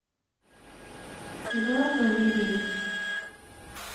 эдуард валериевич